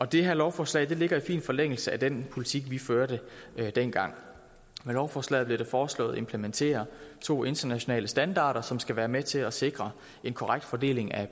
det her lovforslag ligger i fin forlængelse af den politik vi førte dengang med lovforslaget bliver det foreslået at implementere to internationale standarder som skal være med til at sikre en korrekt fordeling af